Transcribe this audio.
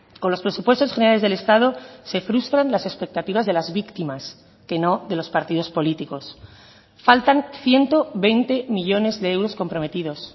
con los presupuestos generales del estado se frustran las expectativas de las víctimas que no de los partidos políticos faltan ciento veinte millónes de euros comprometidos